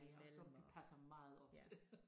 Og som vi passer meget ofte